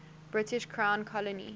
british crown colony